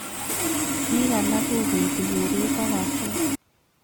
Piik alak kopeti keret ak kaset